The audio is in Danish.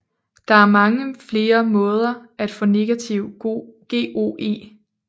Der er mange flere måder at få negativ GOE